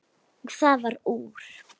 Og það varð úr.